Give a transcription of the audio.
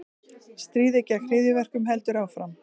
Stríðið gegn hryðjuverkum heldur áfram